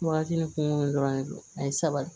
Wagati ni kungo dɔrɔn de do a ye sabali